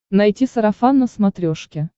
найти сарафан на смотрешке